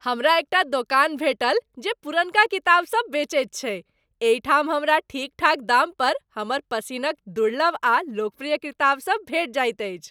हमरा एकटा दोकान भेटल जे पुरनका किताब सब बेचै छै, एहिठाम हमरा ठीकठाक दाम पर हमर पसिनक दुर्लभ आ लोकप्रिय किताब सब भेटि जाइत अछि।